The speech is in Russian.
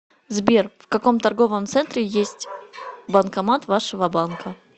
сбер в каком торговом центре есть банкомат вашего банка